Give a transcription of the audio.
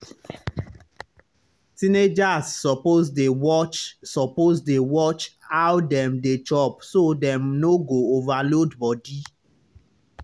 teenagers suppose dey watch suppose dey watch how dem dey chop so dem no go overload body.